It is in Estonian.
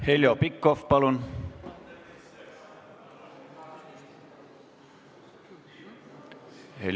Heljo Pikhof, palun!